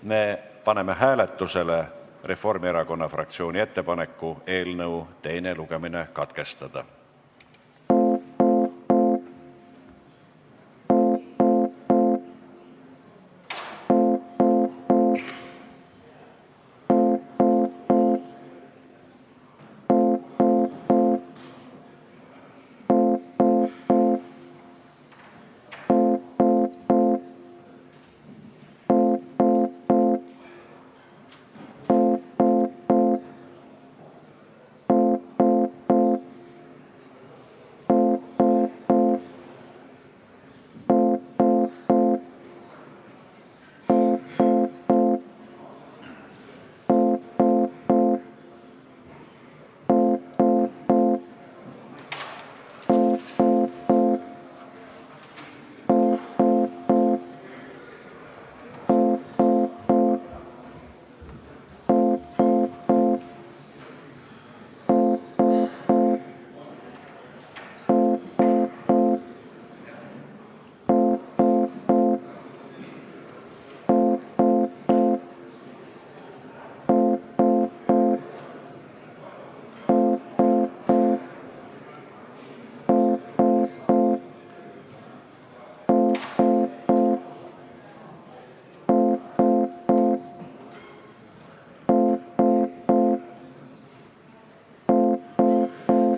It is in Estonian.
Me paneme hääletusele Reformierakonna fraktsiooni ettepaneku eelnõu teine lugemine katkestada.